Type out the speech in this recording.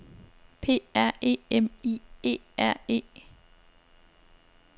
P R E M I E R E